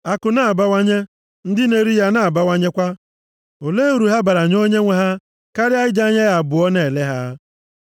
Akụ na-abawanye, ndị na-eri ya na-abawanyekwa. Olee uru ha bara nye onyenwe ha karịa iji anya ya abụọ na-ele ha?